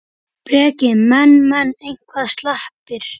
Breki: Menn, menn eitthvað slappir?